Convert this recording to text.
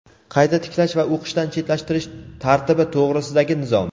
qayta tiklash va o‘qishdan chetlashtirish tartibi to‘g‘risidagi nizom.